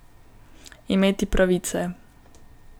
Imeti pravice.